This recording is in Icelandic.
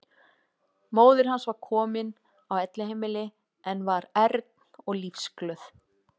Móðir hans var komin á elliheimili en var ern og lífsglöð.